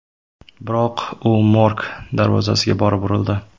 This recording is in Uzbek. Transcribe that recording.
Biroq u morg darvozasiga borib urildi.